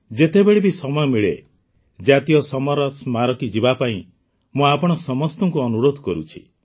ଯେତେବେଳେ ବି ସମୟ ମିଳେ ଜାତୀୟ ସମର ସ୍ମାରକୀ ଯିବା ପାଇଁ ମୁଁ ଆପଣ ସମସ୍ତଙ୍କୁ ଅନୁରୋଧ କରୁଛି